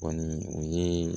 Kɔni o ye